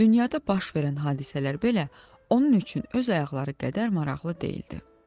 Dünyada baş verən hadisələr belə onun üçün öz ayaqları qədər maraqlı deyildi.